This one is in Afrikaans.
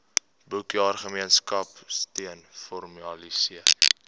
boekjaar gemeenskapsteun formaliseer